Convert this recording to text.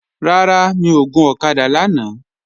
Rárá, mi ò gun ọ̀kadà lánàá